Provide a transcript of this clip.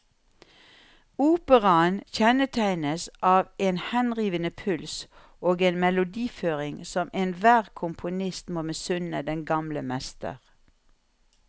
Operaen kjennetegnes av en henrivende puls og en melodiføring som enhver komponist må misunne den gamle mester.